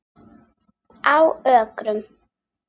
Á Ökrum